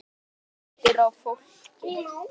Það léttir á fólki.